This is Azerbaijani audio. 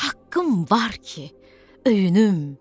Haqqım var ki, öyünüm.